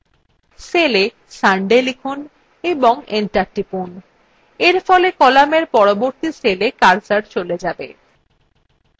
cella sunday লিখুন এবং enter টিপুন এরফলে কলামের পরবর্তী cella কার্সর cell যাবে